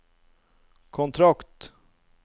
kontrakt